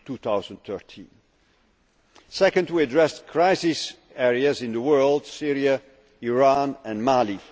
autumn 2013. Second, we addressed crisis areas in the world Syria, Iran and